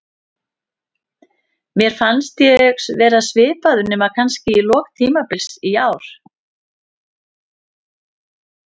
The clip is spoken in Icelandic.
Mér fannst ég vera svipaður, nema kannski í lok tímabils í ár.